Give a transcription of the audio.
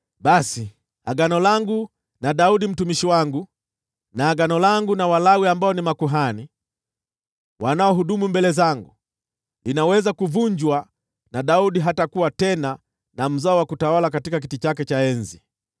basi agano langu na Daudi mtumishi wangu, na agano langu na Walawi ambao ni makuhani wanaohudumu mbele zangu, linaweza kuvunjwa, na Daudi hatakuwa tena na mzao wa kutawala katika kiti chake cha enzi.